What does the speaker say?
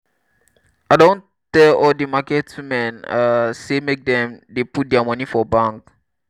i don tell all di market women um sey make dem dey put their money for bank.